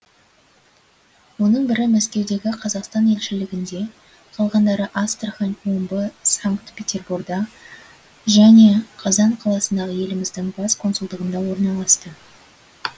оның бірі мәскеудегі қазақстан елшілігінде қалғандары астрахань омбы санкт петерборда және қазан қаласындағы еліміздің бас консулдығында орналасты